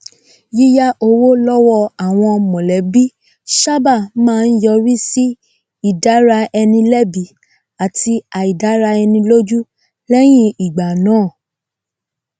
yíyá owó lọwọ àwọn mọlẹbí sábà máa ń yọrí sí ìdára eni lẹbi àtí àìdára ẹni lójú lẹyìn ìgbà náà